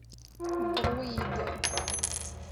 друиды